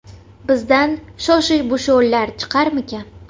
Bizdan Shoshibushonlar chiqarmikan?